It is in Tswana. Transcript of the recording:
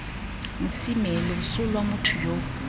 mosime loso lwa motho yo